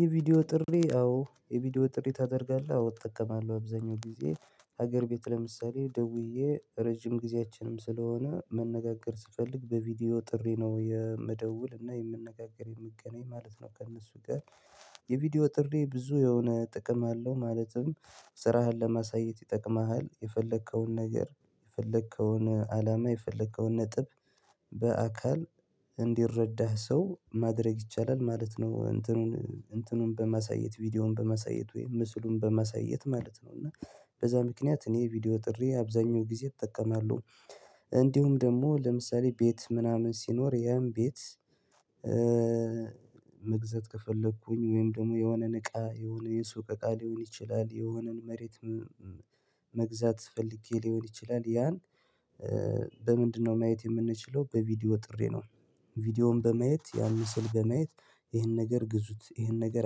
የቪዲዮ ጥሪ አዎ የቪዲዮ ጥሪ ታደርጋለህ አዎ እጠቀማለሁ አብዛኛው ጊዜ ሀገር ቤት ለምሳሌ ደውዬ ረጅም ጊዜያችንም ስለሆነ መነጋገር ስፈልግ በቪዲዮ ጥሪ ነው የምደውል እና የምንነጋገር የምገናኝ ማለት ነው ከእነሱ ጋር። የቪዲዮ ጥሪ ብዙ የሆነ ጥቅም አለው ማለትም ስራህን ለማሳየት ይጠቅምሃል የፈለከውን ነገር የፈለከውን አላማ የፈለከውን ነጥብ በአካል እንዲረዳህ ሰው ማድረግ ይቻላል ማለት ነው እንትኑን እንትኑን በመሰየት ቪዲዮውን በመሰየት ወይም ምስሉን በመሰየት ማለት ነው እና በዛ ምክንያት እኔ ቪዲዮ ጥሪ አብዛኛው ጊዜ እጠቀማለሁ። እንዲሁም ደግሞ ለምሳሌ ቤት ምናምን ሲኖር የእም ቤት መግዘት ከፈለኩኝ ወይም ደግሞ የሆነን እቃ የሆነ የሱቅ እቃ ሊሆን ይችላል የሆነን መሬት መግዛት ፈልጌ ሊሆን ይችላል ያን በምንድነው ማየት የምንችለው በቪዲዮ ጥሪ ነው። ቪዲዮውን በማየት ያን ምስል በማየት ይሄን ነገር ግዙት ይሄን ነገር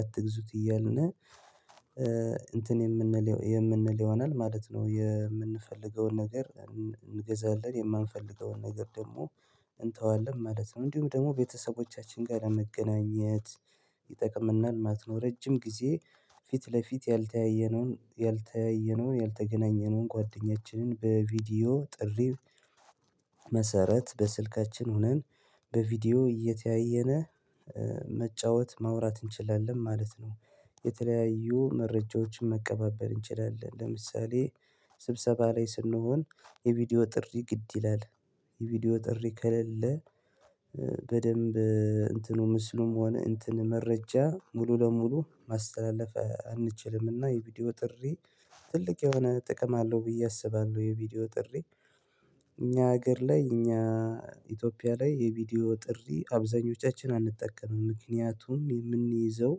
አትግዙት እያልን እንትን የምንለው የምንለው ይሆናል ማለት ነው። የምንፈልገውን ነገር እንገዛለን የማንፈልገውን ነገር ደግሞ እንተዋለን ማለት ነው። እንዲሁም ደግሞ ቤተሰቦቻችን ጋር ለመገናኘት ይጠቅምናል ማለት ነው። ረጅም ጊዜ ፊት ለፊት ያልተያየነውን ያልተያየነውን ያልተገናኘነውን ጓደኛችንን በቪዲዮ ጥሪ መሰረት በስልካችን ሆነን በቪዲዮ እየተያየነ መጫወት ማውራት እንችላለን ማለት ነው። የተለያዩ መረጃዎችን መቀባበል እንችላለን ለምሳሌ ስብሰባ ላይ ስንሆን የቪዲዮ ጥሪ ግድ ይላል የቪዲዮ ጥሪ ከሌለ በደንብ እንትኑ ምስሉም ሆነ እንትን መረጃ ሙሉ ለሙሉ ማስተላለፍ አንችልምና የቪዲዮ ጥሪ ትልቅ የሆነ ጥቅም አለው ብዬ አስባለሁ። የቪዲዮ ጥሪ እኛ ሀገር ላይ እኛ ኢትዮጵያ ላይ የቪዲዮ ጥሪ አብዛኞቻችን አንጠቀምም ምክንያቱም የምንይዘው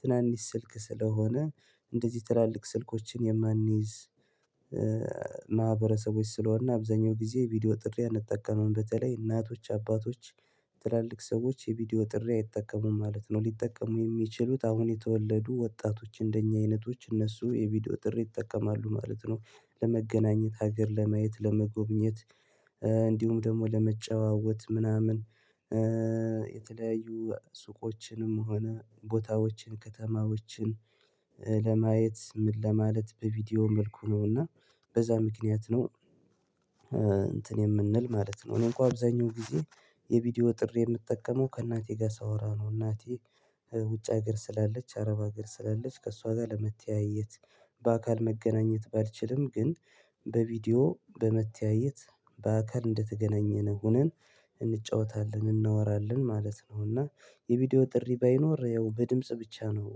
ትናንሽ ስልክ ስለሆነ እንደዚህ ትላልቅ ስልኮችን የማንይዝ ማህበረሰቦች ስለሆነ አብዛኛው ጊዜ ቪዲዮ ጥሪ አንጠቀምም በተለይ እናቶች አባቶች ትላልቅ ሰዎች የቪዲዮ ጥሪ አይጠቀሙም ማለት ነው። ሊጠቀሙ የሚችሉት አሁን የተወለዱ ወጣቶች እንደኛ አይነቶች እነሱ የቪዲዮ ጥሪ ይጠቀማሉ ማለት ነው። ለመገናኘት ሀገር ለማየት ለመጎብኘት እንዲሁም ደግሞ ለመጨዋወት ምናምን የተለያዩ ሱቆችንም ሆነ ቦታዎችን ከተማዎችን ለማየት ምን ለማለት በቪዲዮ መልኩ ነውና በዛ ምክንያት ነው እንትን የምንል ማለት ነው። እኔን እንኳን አብዛኛው ጊዜ የቪዲዮ ጥሪ የምጠቀመው ከእናቴ ጋር ሳወራ ነው እናቴ ውጭ ሀገር ስላለች አረብ ሀገር ስላለች ከእሷ ጋር ለመተያየት በአካል መገናኘት ባልችልም ግን በቪዲዮ በመተያየት በአካል እንደተገናኘን ሆነን እንጫወታለን እናወራለን ማለት ነው። እና የቪዲዮ ጥሪ ባይኖር ያው በድምጽ ብቻ ነው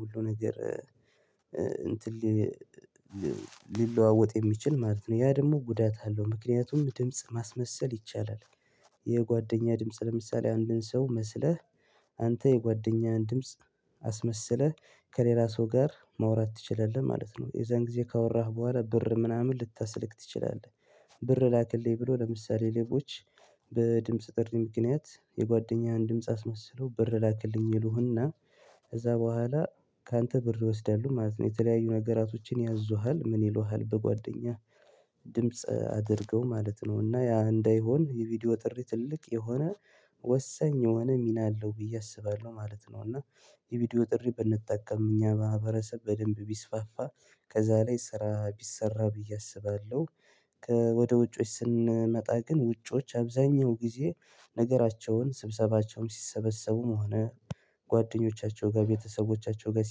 ሁሉ ነገር እንትን ሊለዋወጥ የሚችል ማለት ነው ያ ደግሞ ጉዳት አለው ምክንያቱም ድምጽ ማስመሰል ይቻላል የጓደኛ ድምጽ ለምሳሌ አንድን ሰው መስለህ አንተ የጓደኛህን ድምጽ አስመስለህ ከሌላ ሰው ጋር መውራት ትችለለህ ማለት ነው። የዛን ጊዜ ካወራህ በኋላ ብር ምናምን ልታስልክ ትችላለህ ብር ላክልኝ ብሎ ለምሳሌ ሌቦች ጥሪ ምክንያት የጓደኛውን ድምጽ አስመስሎ ብር ላክልኝ ይሉህና ከዛ በኋላ ካንተ ብር ይወስዳሉ ማለት ነው። የተለያዩ ነገራቶችን ያዙሃል ምን ይሉሃል በጓደኛህ ድምጽ አድርገው ማለት ነው እና ያ እንዳይሆን የቪዲዮ ጥሪ ትልቅ የሆነ ወሳኝ የሆነ ሚና አለው ብዬ አስባለሁ ማለት ነው። እና የቪዲዮ ጥሪ ብንጠቀም እኛ ማህብረተሰብ በደንብ ቢስፋፋ ከዛ ላይ ስራ ቢሰራ ብዬ አስባለሁ። ወደ ውጮች ስንመጣ ግን ውጮች አብዛኛው ጊዜ ነገራቸውን ስብሰባቸውን ሲሰበሰቡም ሆነ ጓደኞቻቸው ጋር ቤተሰቦቻቸው ጋር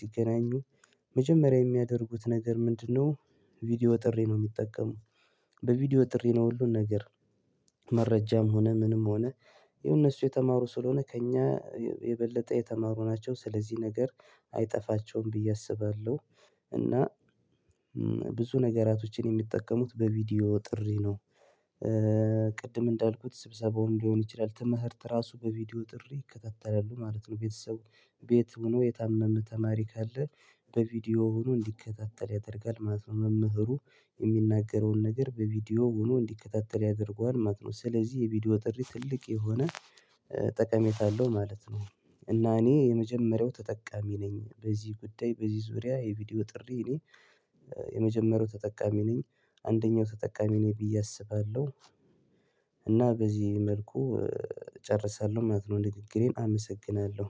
ሲገናኙ መጀመሪያ የሚያደርጉት ነገር ምንድነው? ቪዲዮ ጥሪ ነው የሚጠቀሙት በቪዲዮ ጥሪ ነው ሁሉን ነገር መረጃም ሆነ ምንም ሆነ የእነሱ የተማሩ ስለሆነ ከእኛ የበለጠ የተማሩ ናቸው ስለዚህ ነገር አይጠፋቸውም ብዬ አስባለሁ። እና ነገራቶችን የሚጠቀሙት በቪዲዮ ጥሪ ነው ቅድም እንዳልኩት ስብሰባውን ሊሆን ይችላል ትምህርት ራሱ በቪዲዮ ጥሪ ይከተተላሉ ማለት ነው። ቤተሰቡ ቤት ሆኖ የታመመ ተማሪ ካለ በቪዲዮ ሆኖ እንዲከታተል ያደርጋል መምህሩ የሚናገረውን ነገር በቪዲዮ ሆኖ እንዲከታተል ያደርገዋል ማለት ነው። ስለዚህ የቪዲዮ ጥሪ ትልቅ የሆነ ጠቀሜታ አለው ማለት ነው። እና እኔ የመጀመሪያው ተጠቃሚ ነኝ በዚህ ጉዳይ በዚህ ዙሪያ የቪዲዮ ጥሪ እኔ የመጀመሪያው ተጠቃሚ ነኝ አንደኛው ተጠቃሚ ነኝ ብዬ አስባለሁ። እና በዚህ መልኩ እጨርሳለሁ ማለት ነው ንግግሬን አመሰግናለሁ።